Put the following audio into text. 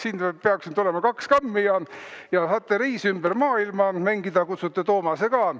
Siin peaks nüüd olema kaks kammi ja saate "Reis ümber maailma" mängida, kutsute Toomase ka.